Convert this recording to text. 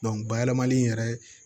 bayɛlɛmali yɛrɛ